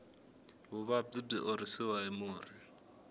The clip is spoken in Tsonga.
vuvabyi byi horisiwa hi murhi